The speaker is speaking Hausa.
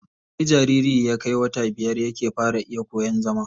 Sai jariri ya kai wata biyar yake fara iya koyan zama.